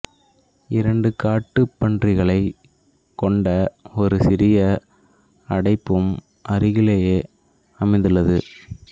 இரண்டு காட்டுப்பன்றிகளைக் கொண்ட ஒரு சிறிய அடைப்பும் அருகிலேயே அமைந்துள்ளது